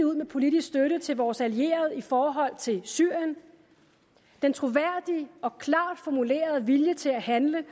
ud med politisk støtte til vores allierede i forhold til syrien den troværdige og klart formulerede vilje til at handle